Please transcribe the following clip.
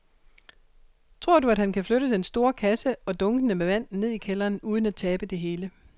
Tror du, at han kan flytte den store kasse og dunkene med vand ned i kælderen uden at tabe det hele?